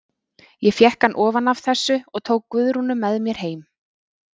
Ég fékk hann ofan af þessu og tók Guðrúnu með mér heim.